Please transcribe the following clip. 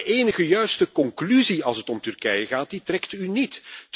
Maar de enige juiste conclusie als het om Turkije gaat, trekt u niet.